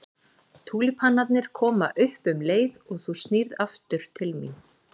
Túlípanarnir koma upp um leið og þú snýrð aftur til mín.